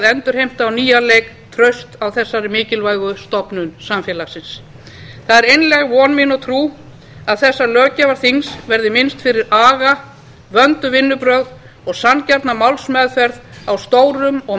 endurheimta á nýjan leik traust á þessari mikilvægu stofnun samfélagsins það er einlæg von mín og trú að þessa löggjafarþings verði minnst fyrir aga vönduð vinnubrögð og sanngjarna málsmeðferð á stórum og